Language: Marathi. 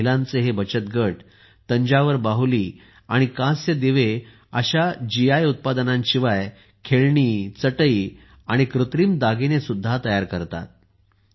महिलांचे हे बचत गट तंजावर बाहुली आणि कांस्याचे दिवे अशा जीआय उत्पादनांशिवाय खेळणी चटई आणि कृत्रिम दागिने सुद्धा तयार करतात